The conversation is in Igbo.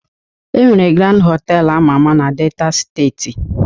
E nwere Grand họtelu ama ama na Delta steeti